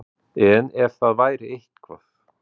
En ef að það væri eitthvað.